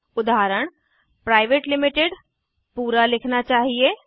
उदाहरण private limited पूरा लिखना चाहिए